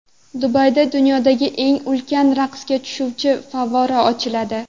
Dubayda dunyodagi eng ulkan raqsga tushuvchi favvora ochiladi.